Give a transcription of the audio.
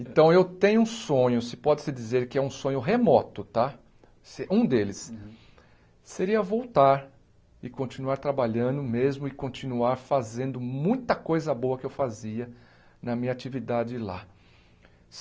Então eu tenho um sonho, se pode se dizer que é um sonho remoto tá se, um deles, seria voltar e continuar trabalhando mesmo e continuar fazendo muita coisa boa que eu fazia na minha atividade lá.